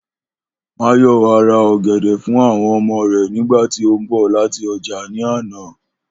Máyò̩wá ra ò̩gè̩dè̩ fún àwo̩n o̩mo̩ rè̩ nígbà tí ó ń bò̩ láti o̩jà ní àná